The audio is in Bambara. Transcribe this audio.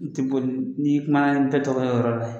N ti boli ni kuma na n ti tɔgɔ yɔrɔ la ye